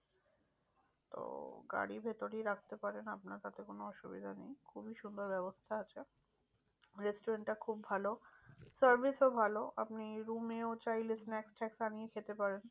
তো গাড়ি ভেতরেই রাখতে পারেন আপনার তাতে কোনো অসুবিধা নেই। খুবই সুন্দর ব্যাবস্থা আছে restaurant টা খুব ভালো service ও ভালো। আপনি room এও চাইলে snacks ট্যানাক্স আনিয়ে খেতে পারেন।